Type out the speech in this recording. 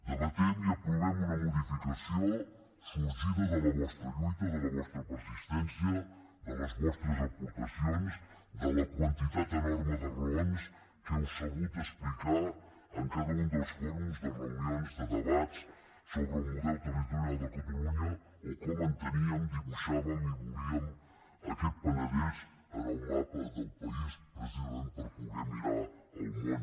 debatem i aprovem una modificació sorgida de la vostra lluita de la vostra persistència de les vostres aportacions de la quantitat enorme de raons que heu sabut explicar en cada un dels fòrums reunions debats sobre el model territorial de catalunya o com enteníem dibuixàvem i volíem aquest penedès en el mapa del país precisament per poder mirar el món